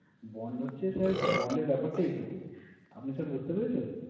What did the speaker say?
Bond হচ্ছে sir bond এর ব্যাপারটা এইটুকুই। আপনি sir বুঝতে পেরেছেন?